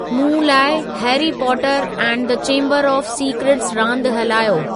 मूं लाइ Harry Potter and the Chamber of Secrets रांदि हलायो